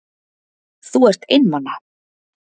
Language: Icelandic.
Þú er einmana.